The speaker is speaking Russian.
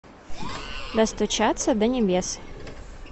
достучаться до небес